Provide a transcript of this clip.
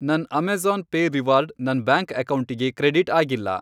ನನ್ Amazon pay reward ನನ್ bank ಅಕೌಂಟಿಗೆ ಕ್ರೆಡಿಟ್ ಅಗಿಲ್ಲ.